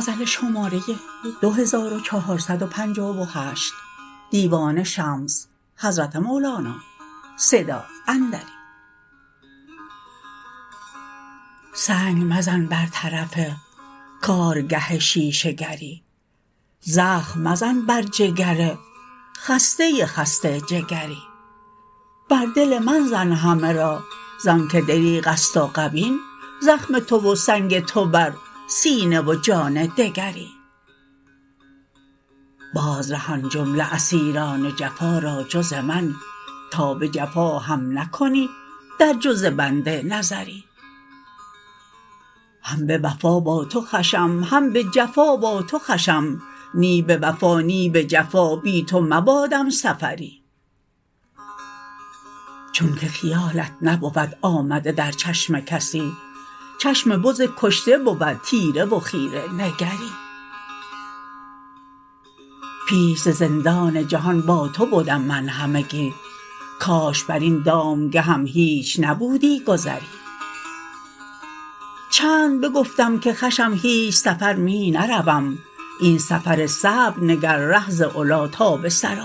سنگ مزن بر طرف کارگه شیشه گر ی زخم مزن بر جگر خسته خسته جگر ی بر دل من زن همه را ز آنک دریغ است و غبین زخم تو و سنگ تو بر سینه و جان دگری باز رهان جمله اسیر ان جفا را جز من تا به جفا هم نکنی در جز بنده نظری هم به وفا با تو خوشم هم به جفا با تو خوشم نی به وفا نی به جفا بی تو مباد م سفر ی چونک خیالت نبود آمده در چشم کسی چشم بز کشته بود تیره و خیره نگر ی پیش ز زندان جهان با تو بدم من همگی کاش بر این دام گه م هیچ نبودی گذری چند بگفتم که خوشم هیچ سفر می نروم این سفر صعب نگر ره ز علی تا به ثری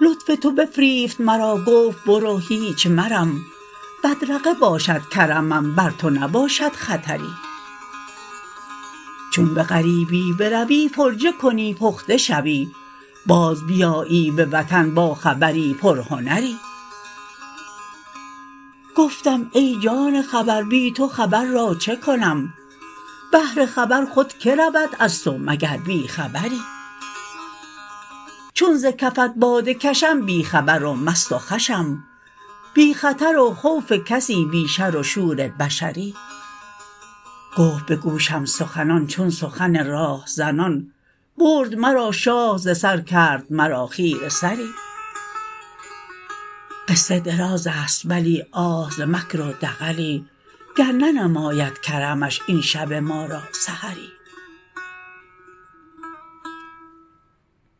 لطف تو بفریفت مرا گفت برو هیچ مرم بدرقه باشد کرمم بر تو نباشد خطر ی چون به غریبی بروی فرجه کنی پخته شوی باز بیایی به وطن با خبر ی پر هنر ی گفتم ای جان خبر بی تو خبر را چه کنم بهر خبر خود که رود از تو مگر بی خبر ی چون ز کفت باده کشم بی خبر و مست و خوشم بی خطر و خوف کسی بی شر و شور بشر ی گفت به گوشم سخنان چون سخن راه زنان برد مرا شاه ز سر کرد مرا خیره سر ی قصه دراز است بلی آه ز مکر و دغلی گر ننماید کرمش این شب ما را سحر ی